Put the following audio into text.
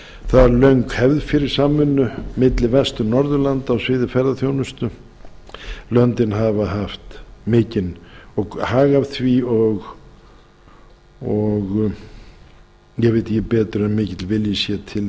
það er löng hefð fyrir samvinnu milli vestur norðurlanda á sviði ferðaþjónustu löndin geta haft hag af því og ég veit ekki betur en mikill vilji sé til